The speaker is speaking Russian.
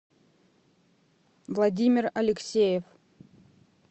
владимир алексеев